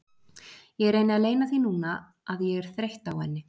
Ég reyni að leyna því núna að ég er þreytt á henni.